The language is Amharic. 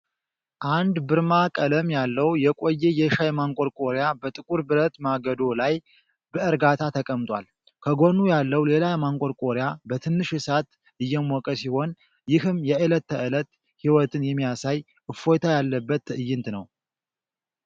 አንድ ብርማ ቀለም ያለው የቆየ የሻይ ማንቆርቆሪያ በጥቁር ብረት ማገዶ ላይ በእርጋታ ተቀምጧል። ከጎኑ ያለው ሌላ ማንቆርቆሪያ በትንሽ እሳት እየሞቀ ሲሆን፣ ይህም የዕለት ተዕለት ሕይወትን የሚያሳይ እፎይታ ያለበት ትዕይንት ነው።